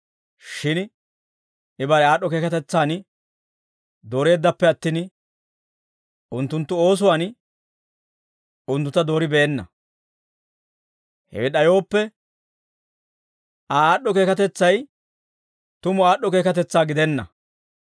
Shin I bare aad'd'o keekatetsaan dooreeddappe attin, unttunttu oosuwaan unttuntta dooribeenna; hewe d'ayooppe, Aa aad'd'o keekatetsay tumu aad'd'o keekatetsaa gidenna.